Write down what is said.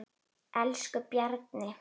Elsku Bjarni.